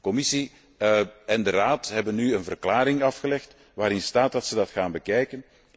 Commissie en Raad hebben nu een verklaring afgelegd waarin staat dat ze dat gaan bekijken.